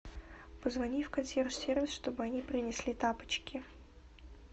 позвони в консьерж сервис чтобы они принесли тапочки